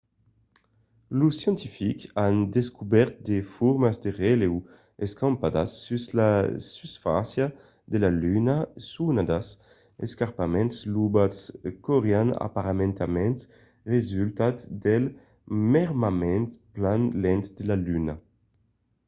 los scientifics an descobèrt de formas de relèu escampadas sus la susfàcia de la luna sonadas escarpaments lobats qu'aurián aparentament resultat del mermament plan lent de la luna